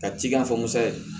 Ka ci k'a fɔ musa ye